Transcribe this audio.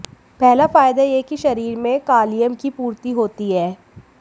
पहला फायदा यह कि शरीर में कालियम की पूर्ति होती है